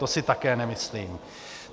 To si také nemyslím.